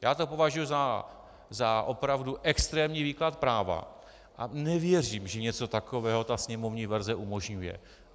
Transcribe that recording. Já to považuji za opravdu extrémní výklad práva a nevěřím, že něco takového ta sněmovní verze umožňuje.